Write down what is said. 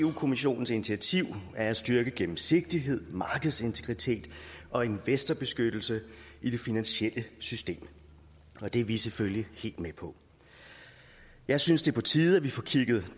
kommissionens initiativ er at styrke gennemsigtighed markedsintegritet og investorbeskyttelse i det finansielle system og det er vi selvfølgelig helt med på jeg synes det er på tide at vi får kigget